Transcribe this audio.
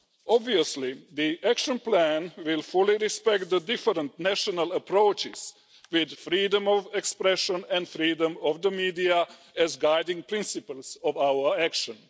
Obviously, the action plan will fully respect the different national approaches, with freedom of expression and freedom of the media as guiding principles of our action.